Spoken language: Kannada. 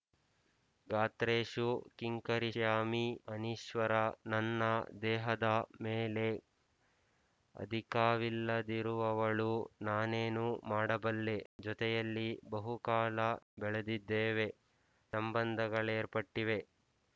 ಗಾತ್ರೇಷು ಕಿಂಕರಿಷ್ಯಾಮಿ ಅನೀಶ್ವರಾ ನನ್ನ ದೇಹದ ಮೇಲೆ ಅಧಿಕಾವಿಲ್ಲದಿರುವವಳು ನಾನೇನು ಮಾಡಬಲ್ಲೆ ಜೊತೆಯಲ್ಲಿ ಬಹುಕಾಲ ಬೆಳೆದಿದ್ದೇವೆ ಸಂಬಂಧಗಳೇರ್ಪಟ್ಟಿವೆ